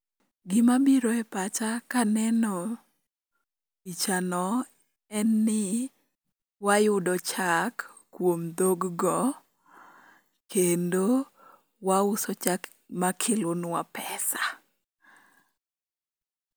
Gimabiro epacha kaneno pichano, en ni ni, wayudo chak, kuom dhog go, kendo, wauso chak makelonwa pesa